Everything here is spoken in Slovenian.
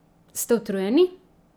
Ste utrujeni?